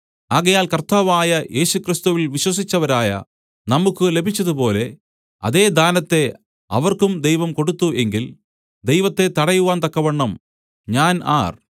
ആകയാൽ കർത്താവായ യേശുക്രിസ്തുവിൽ വിശ്വസിച്ചവരായ നമുക്കു ലഭിച്ചതുപോലെ അതേ ദാനത്തെ അവർക്കും ദൈവം കൊടുത്തു എങ്കിൽ ദൈവത്തെ തടയുവാൻ തക്കവണ്ണം ഞാൻ ആർ